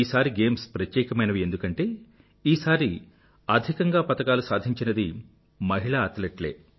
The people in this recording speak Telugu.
ఈసారి గేమ్స్ ప్రత్యేకమైనవి ఎందుకంటే ఈసారి అధికంగా పతకాలు సాధించినది మహిళా అథ్లెట్ లే